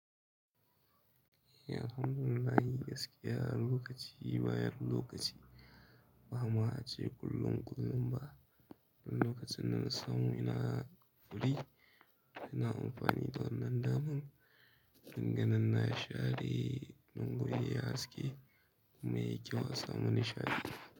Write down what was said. Eh, alhamdulillah, gaskiya lokaci bayar lokaci. Ba ma a ce kullum, kullum ba. Wani lokaci nan samu ina furi, ina amfani da wannan daman. Dandanan na share don guri ya yi haske kuma ya yi kyau a samu nishaɗi.